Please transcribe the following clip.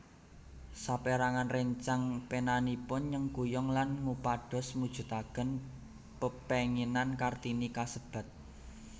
Sapérangan réncang penanipun nyengkuyung lan ngupados mujudaken pepénginan Kartini kasebat